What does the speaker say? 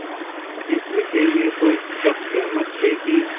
इस विषय में तो सब सहमत थे कि